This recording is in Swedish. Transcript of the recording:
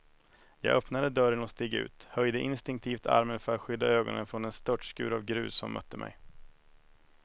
Jag öppnade dörren och steg ut, höjde instinktivt armen för att skydda ögonen från den störtskur av grus som mötte mig.